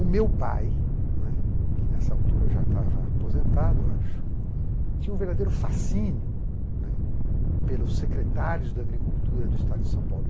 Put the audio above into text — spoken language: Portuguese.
O meu pai, né, que nessa altura já estava aposentado acho, tinha um verdadeiro fascínio, né, pelos secretários da agricultura do estado de São Paulo.